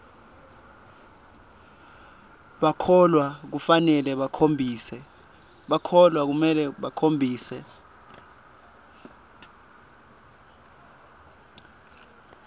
bahlolwa kufanele bakhombise